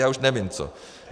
Já už nevím co.